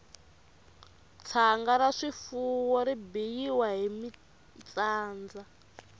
tshanga ra swifuwo ri biyiwa hi mintsanda